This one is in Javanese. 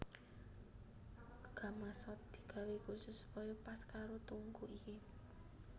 Gamasot digawé khusus supaya pas karo tungku iki